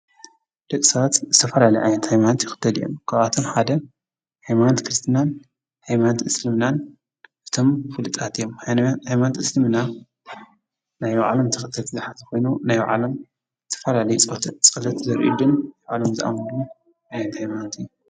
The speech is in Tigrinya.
ደቂ ሰባት ዝተፈላለዩ ዓይነት ሃይማኖት ይክተሉ እዮም፡፡ ካብኣቶም ሓደ ሃይማኖት ክርስትናን ሃይማኖት እስልምናን እቶም ፍሉጣት እዮም፡፡ ሃይማኖት ሃይማኖት እስልምና ናይ ባዕሎም ተከተልቲ ዝሓዘ ኮይኑ ናይ ባዕሎም ዝተፈላለዩ ፀሎት ዘብፅሉን ዝኣምኑሉን ዓይነት ሃይማኖት እዩ፡፡